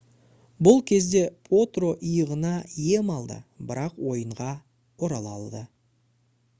бұл кезде потро иығына ем алды бірақ ойынға орала алды